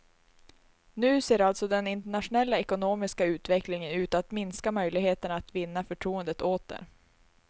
Nu ser alltså den internationella ekonomiska utvecklingen ut att minska möjligheterna att vinna förtroendet åter.